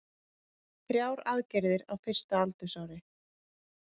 Þrjár aðgerðir á fyrsta aldursári